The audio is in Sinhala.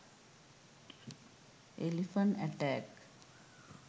elephant attack